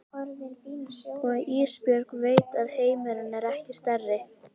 Og Ísbjörg veit að heimurinn er ekki stærri.